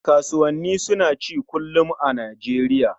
Kasuwannani suna ci kullum a Nijeriya